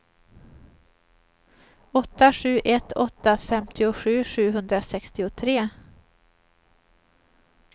åtta sju ett åtta femtiosju sjuhundrasextiotre